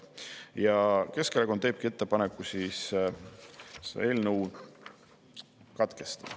Ja Keskerakond teebki ettepaneku selle eelnõu katkestada.